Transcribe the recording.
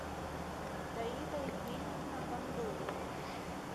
таита евгеньевна бандурина